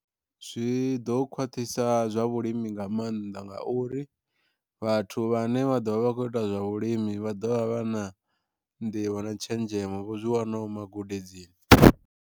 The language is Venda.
Zwi ḓo khwaṱhisa zwa vhulimi nga maanḓa ngauri vhathu vhane vha ḓovha vha kho ita zwa vhulimi vha ḓovha vha na nḓivho na tshenzhemo vho zwi wanaho magudedzini.